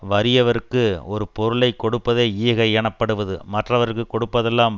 வறியவர்க்கு ஒரு பொருளை கொடுப்பதே ஈகை எனப்படுவது மற்றவர்க்குக் கொடுப்பதெல்லாம்